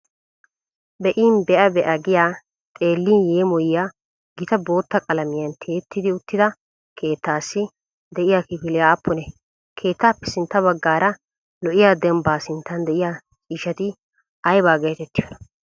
Be"in be'a be'a giya xeellin yeemoyiya gita bootta qalamiyan tiyetti uttida keettaassi de'iya kifilee aappunee? Keettaappe sintta baggaara lo"iya dembbaa sinttan de'iya ciishshati ayba geetettiyonaa?